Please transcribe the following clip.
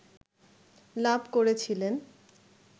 লাভ করেছিলেন